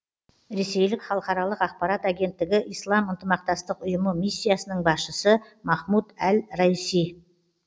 ресейлік халықаралық ақпарат агенттігі ислам ынтымақтастық ұйымы миссиясының басшысы махмуд әл раисидің